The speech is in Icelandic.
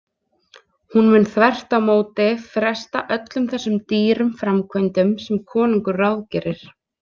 Hún mun þvert á móti fresta öllum þessum dýru framkvæmdum sem konungur ráðgerir.